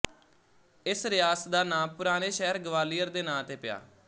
ਇਸ ਰਿਆਸਤ ਦਾ ਨਾਂ ਪੁਰਾਣੇ ਸ਼ਹਿਰ ਗਵਾਲੀਅਰ ਦੇ ਨਾਂ ਤੇ ਪਇਆ